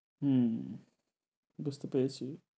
হুম বুঝতে পেরেছি।